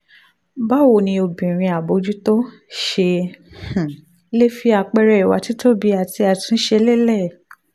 báwo ni obìnrin àbójútó ṣe um lè fi àpẹẹrẹ ìwà títóbi àti àtúnṣe lélẹ̀.